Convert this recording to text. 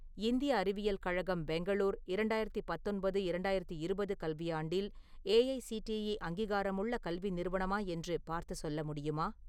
இந்திய அறிவியல் கழகம் பெங்களூர் இரண்டாயிரத்து பத்தொன்பது - இரண்டாயிரத்து இருபது கல்வியாண்டில் ஏஐசிடிஇ அங்கீகாரமுள்ள கல்வி நிறுவனமா என்று பார்த்து சொல்ல முடியுமா?